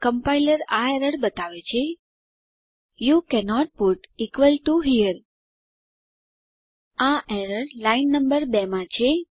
compiler આ error દર્શાવે છે યુ કેનોટ પુટ હેરે આ એરર લાઈન નંબર 2 માં છે